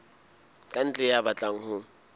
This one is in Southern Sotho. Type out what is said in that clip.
ka ntle ya batlang ho